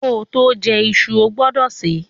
Koto je isu, o gbúdò se